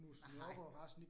Nej